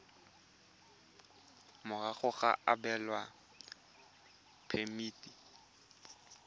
morago ga go abelwa phemiti